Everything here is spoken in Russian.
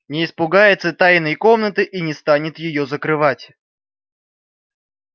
не испугается тайной комнаты и не станет её закрывать